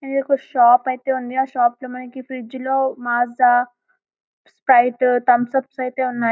ఒక షాప్ అయితే ఉంది ఆ షాపులో మనకి ఫ్రిడ్జ్లు మాజా స్ప్రైట్ తంసప్ అయితే ఉన్నాయి --